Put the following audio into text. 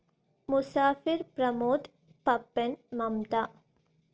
Musafir Pramod Pappan Mamta